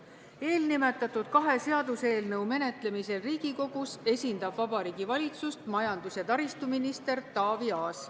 Eelnimetatud kahe seaduseelnõu menetlemisel Riigikogus esindab Vabariigi Valitsust majandus- ja taristuminister Taavi Aas.